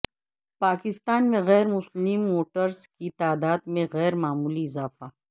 پاکستان میں غیر مسلم ووٹرز کی تعداد میں غیر معمولی اضافہ